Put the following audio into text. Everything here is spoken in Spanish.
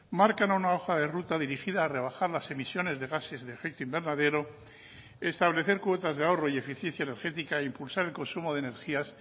marcan una hoja de ruta dirigida a rebajar las emisiones de gases de efecto invernadero establecer cuotas de ahorro y eficiencia energética e impulsar el consumo de energías